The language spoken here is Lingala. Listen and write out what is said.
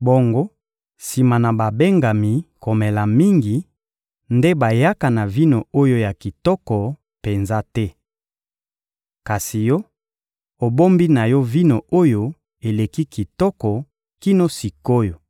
bongo, sima na babengami komela mingi, nde bayaka na vino oyo ya kitoko penza te. Kasi yo, obombi na yo vino oyo eleki kitoko kino sik’oyo!»